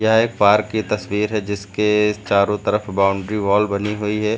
यह एक पार्क की तस्वीर है जिसके चारों तरफ बाउंड्री वॉल बनी हुई है।